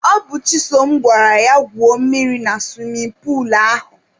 Ọ bụ Chisom gwara ya gwuo mmiri na suwimin puulu ahụ.